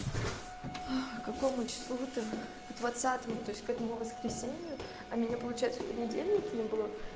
какому числу двадцатому то есть к этому воскресенью а меня получается понедельник не было